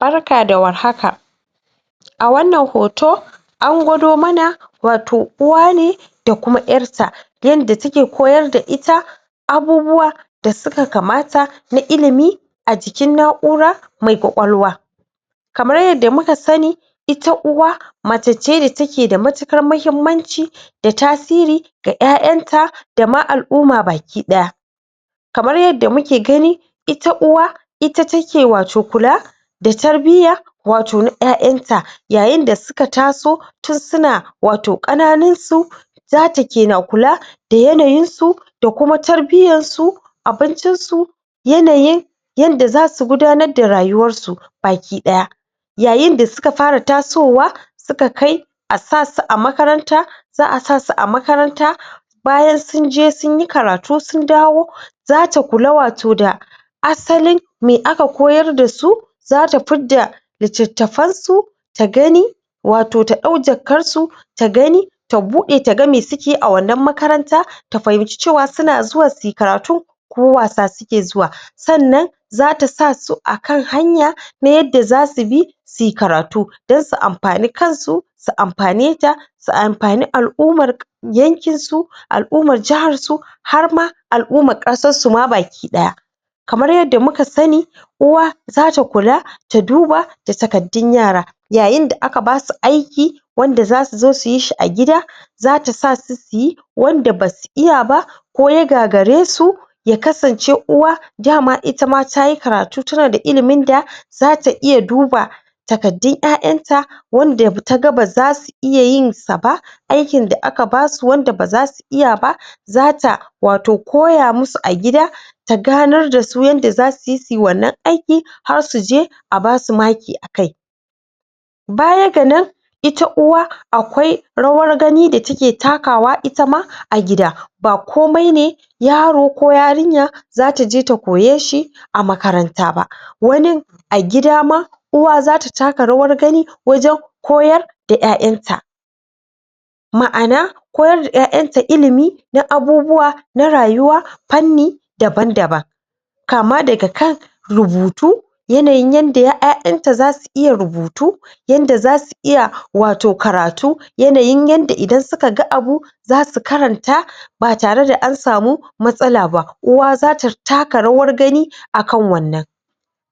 Barka da war haka a wannan hoto a gwado mana wato uwa ne da kuma ƴatta yanda take koyar da ita abubuwa dasuka kamata na ilimi ajikin na'ura mai kwakwal wa kamar yadda muka sani ita uwa mace ce da take da matuƙar mahimmanci da tasiri ga ƴaƴanta da ma al'umma baki ɗaya kamar yadda muke gani ita uwa ita take wato kula da tarbiyya wato na ƴaƴanta yayin da suka taso tin suna wato ƙananinsu zata kena kula da yanayinsu da kuma tarbiyyassu abincinsu yanayin yanda zasu gudanar da rayuwarsu baki ɗaya yayin da suka fara tasowa suka kai asasu amakaranta za asasu a makaranta bayan sunje sunyi karatu sun dawo zata kula wato da asalin me aka koyar dasu zata fidda littatafansu ta gani wato ta ɗau jakansu ta gani tabuƙaɗe taga me suke a wannan makaranta ta fahimci cewa suna zuwa sui karatu ko wasa suke zuwa sannan zata sasu akan hanya ta yadda zasu bi sui karatu dan su amfani kansu su amfane ta su amfane al'ummar yankinsu al ummar jahar su harma al'ummar ƙasassu da kamar yadda muka sani uwa zata kula ta duba da takaddun yara yayin da aka basu aiki wanda zasuzo suyishi a gida zata sasu suyi wanda basu iyaba ko ya gagaresu yakasance uwa dama itama tayi karatu tana da iliminda zata iya duba takaddun ƴaƴanta wanda taga bazasu iya yinsa ba aikin da aka basu wanda baza su iyaba zata wato koya musu a gida ta ganar dasu yadda za suyi sui wannan aiki har suje abasu maki akai baya ganan ita uwa akwai rawar gani da take takawa itama a gida ba komai ne zataje ta koyeshi a makaranta ba wanin a gida ma uwa zata taka yawar gani wajan koyar da ƴaƴarta ma'ana koyar da ƴaƴarta ilimi na abubuwa na rayuwa fanni daban daban kama daga kan rubutu yanayin yanda ƴaƴarta zasu iya rubutu yanda zasu iya wato karatu yanayin yanda idan suka ga abu zasu karanta batare da ansamu matsalaba uwa zata taka rawa gani akan wannan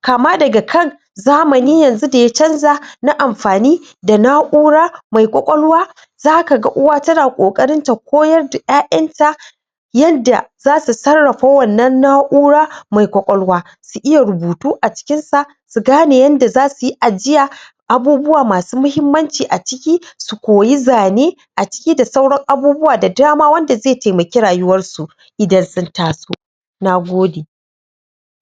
kama daga kan zamani yanzu da ya canja na amfani da na ura mai kwakwalwa zakaga uwa tana ƙoƙarinta koyar da yanda zasu sarrafa wannan na ura mai kwakwalwa su iya rubutu acikinsa sugane yadda zasuyi ajiya abubuwa masu mahimmanci aciki koyi zane aciki da sauran abubuwa da dama wanda ze temaki rayuwarsu idan sun taso nagode